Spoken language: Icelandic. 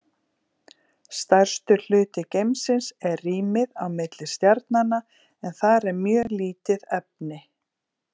Stærstur hluti geimsins er rýmið á milli stjarnanna en þar er mjög lítið efni.